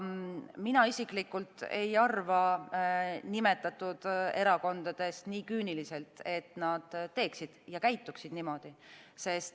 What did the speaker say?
Mina isiklikult ei arva nimetatud erakondadest nii küüniliselt, et nad teeksid ja käituksid niimoodi.